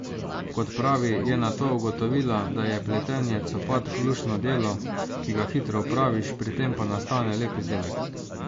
Kot pravi, je nato ugotovila, da je pletenje copatk luštno delo, ki ga hitro opraviš, pri tem pa nastane lep izdelek.